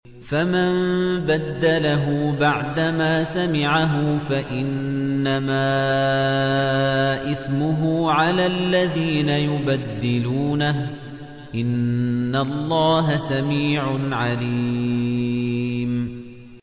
فَمَن بَدَّلَهُ بَعْدَمَا سَمِعَهُ فَإِنَّمَا إِثْمُهُ عَلَى الَّذِينَ يُبَدِّلُونَهُ ۚ إِنَّ اللَّهَ سَمِيعٌ عَلِيمٌ